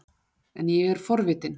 En ég er forvitin.